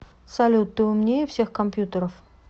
салют ты умнее всех компьютеров